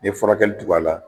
N'i ye furakɛli tug'a la